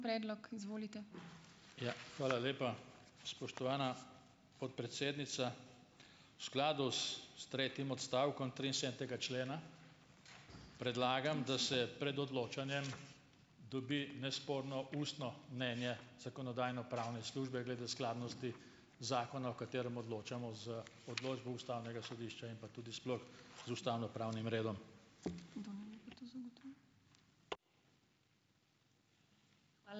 Ja, hvala lepa, spoštovana podpredsednica. V skladu s, s tretjim odstavkom triinsedemdesetega člena predlagam, da se pred odločanjem dobi nesporno ustno mnenje zakonodajno-pravne službe glede skladnosti zakona, o katerem odločamo, z odločbo ustavnega sodišča in pa tudi sploh z ustavnopravnim redom.